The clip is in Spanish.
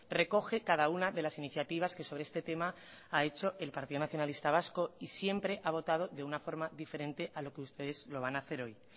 recoge cada una de las iniciativas que sobre este tema ha hecho el partido nacionalista vasco y siempre ha votado de una forma diferente a lo que ustedes lo van a hacer hoy